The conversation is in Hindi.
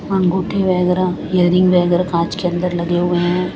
अंगूठी वैगेरा रिंग वैगेरा कांच के अंदर लगे हुए हैं।